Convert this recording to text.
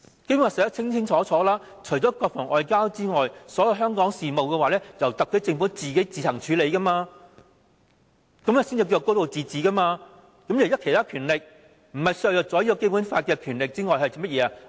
《基本法》清楚訂明，除國防和外交外，所有香港事務也由特區政府自行處理，這才是"高度自治"，行使其他權力不是削弱《基本法》又是甚麼？